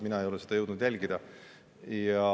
Mina ei ole jõudnud seda jälgida.